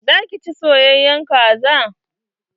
Za ki ci soyayen kaza?